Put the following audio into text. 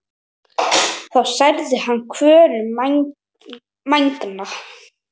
þá særði hann kvölin megna.